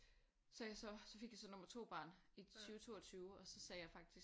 Så er jeg så så fik jeg så nummer 2 barn i 20 22 og så sagde jeg faktisk